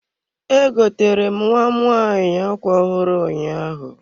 E gotere m nwam nwanyị ákwá ọhụrụ ụnyaahụ.